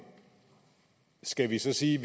skal vi så sige